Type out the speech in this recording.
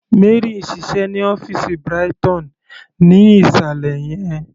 Mary ń ṣiṣẹ́ ní ọ́fìsì Brighton ní ìsàlẹ̀ yẹn..